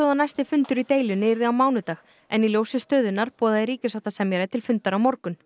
að næsti fundur í deilunni yrði á mánudag en í ljósi stöðunnar boðaði ríkissáttasemjari til fundar á morgun